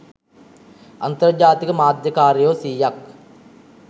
අන්තර්ජාතික මාධ්‍ය කාරයෝ සීයක්